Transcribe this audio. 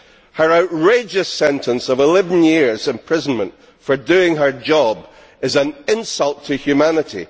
Her outrageous sentence of 11 years' imprisonment for doing her job is an insult to humanity.